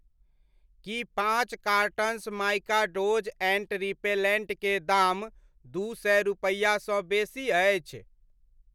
की पाँच cartons Mikados ant repellent के दाम दू सए रुपैआसँ बेसी अछि ?